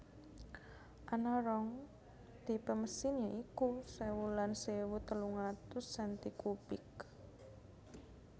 Ana rong tipe mesin ya iku sewu lan sewu telung atus senti kubik